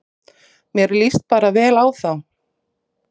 Mér líst bara vel á þá